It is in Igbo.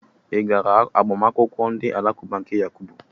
Ị gara agbamakwụkwọ ndị alakụba nke Yakubu?